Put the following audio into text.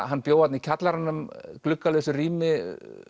hann bjó þarna í kjallaranum gluggalausu rými